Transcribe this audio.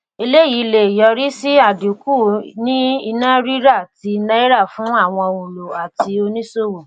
eléyìí lè yọrí sí àdínkù ní iná rírà ti náírà fún àwọn òǹlò àti oníṣòwò.